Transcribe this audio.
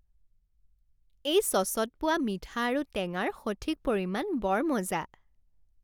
এই চচত পোৱা মিঠা আৰু টেঙাৰ সঠিক পৰিমাণ বৰ মজা।